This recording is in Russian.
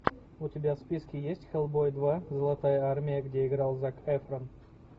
у тебя в списке есть хеллбой два золотая армия где играл зак эфрон